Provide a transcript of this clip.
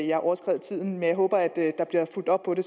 jeg har overskredet tiden men jeg håber at der bliver fulgt op på det